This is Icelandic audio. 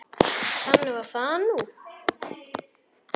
Þannig var það nú.